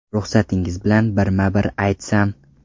Ruxsatingiz bilan birma-bir aytsam.